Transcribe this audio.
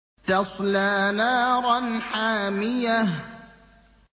تَصْلَىٰ نَارًا حَامِيَةً